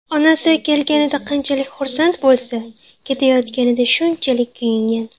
Onasi kelganida qanchalik xursand bo‘lsa, ketayotganida shunchalik kuyingan.